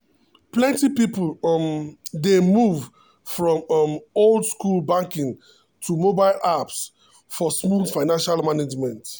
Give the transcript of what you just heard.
plenty people um dey move from um old-school banking to mobile apps for smooth financial management.